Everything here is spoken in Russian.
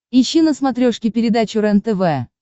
ищи на смотрешке передачу рентв